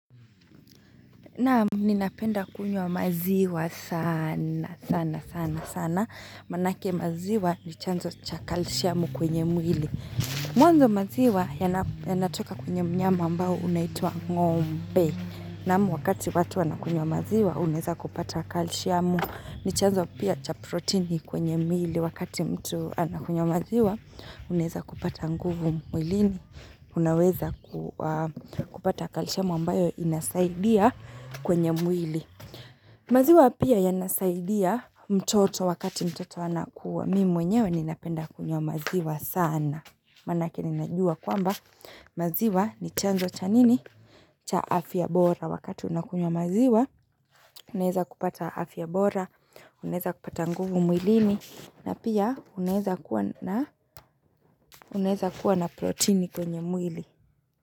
Naam, ninapenda kunywa maziwa sana, sana, sana, sana. Maanake maziwa ni chanzo cha kalishiamu kwenye mwili. Mwanzo maziwa yanatoka kwenye mnyama ambao unaitwa ng'ombe. Naam, wakati watu wanakunywa maziwa, unaeza kupata kalishiamu. Ni chanzo pia cha proteini kwenye mwili. Wakati mtu anakunywa maziwa, unaeza kupata nguvu mwilini. Unaweza kupata kalishiamu ambayo inasaidia. Kwenye mwili. Maziwa pia yanasaidia mtoto wakati mtoto anakua. Mimi mwenyewe ninapenda kunywa maziwa sana. Maanake ninajua kwamba maziwa ni chanzo cha nini? Cha afya bora. Wakati unakunywa maziwa, unaeza kupata afya bora. Unaeza kupata nguvu mwilini. Na pia unaeza kuwa na proteini kwenye mwili.